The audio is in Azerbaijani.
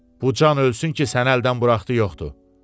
Bu can ölsün ki, səni əldən buraxdığı yoxdur.